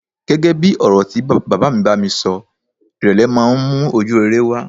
Gẹ́gẹ́ bí ọ̀rọ̀ tí bàbá mi bá mi sọ, ìrèlè máa ń mú ojúrere wá.